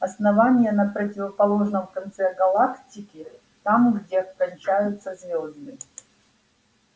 основание на противоположном конце галактики там где кончаются звезды